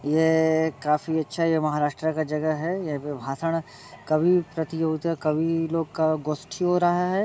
ये य य काफी अच्छा महाराष्ट्र का जगह है। यहाँ पे भाषण कवि प्रतियोगिता कवि लोग का गोस्तीय हो रहा है।